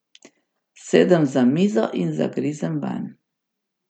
Sedem za mizo in zagrizem vanj.